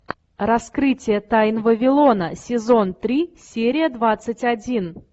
раскрытие тайн вавилона сезон три серия двадцать один